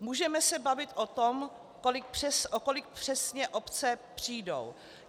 Můžeme se bavit o tom, o kolik přesně obce přijdou.